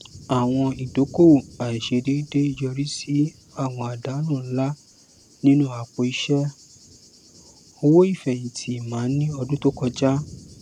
àwọn idókòòwò àìsèdédé yọrí sí àwọn àdánù ńlá nínú apò iṣẹ owó ìfẹhìntì emma ní ọdún tó kọjá